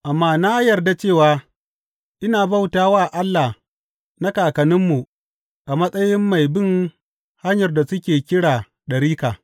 Amma na yarda cewa ina bauta wa Allah na kakanninmu a matsayin mai bin Hanyar da suke kira ɗarika.